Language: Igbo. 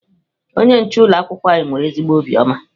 Onye nche ụlọ akwụkwọ anyị nwere ezigbo obiọma.